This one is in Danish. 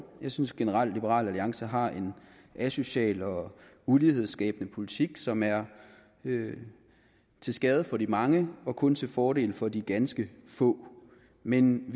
jeg synes generelt at liberal alliance har en asocial og ulighedsskabende politik som er til skade for de mange og kun til fordel for de ganske få men